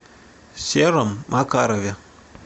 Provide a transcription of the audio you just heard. сером макарове